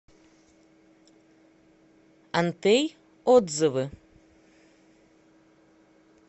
антей отзывы